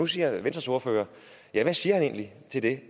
siger venstres ordfører egentlig til det